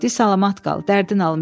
Di salamat qal, dərdin alım.